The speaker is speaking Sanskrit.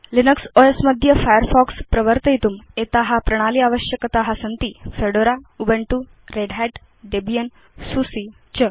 लिनक्स ओस् मध्ये फायरफॉक्स प्रवर्तयितुम् एता प्रणाली आवश्यकता सन्ति फेडोरा ubuntuरेड् hatडेबियन् सुसे च